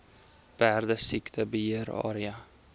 perdesiekte beheer area